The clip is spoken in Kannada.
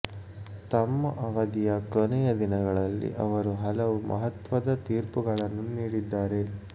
ತಮ್ಮ ಅವಧಿಯ ಕೊನೆಯ ದಿನಗಳಲ್ಲಿ ಅವರು ಹಲವು ಮಹತ್ವದ ತೀರ್ಪುಗಳನ್ನು ನೀಡಿದ್ದಾರೆ